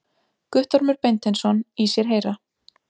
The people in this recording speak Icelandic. Guttormur Beinteinsson í sér heyra.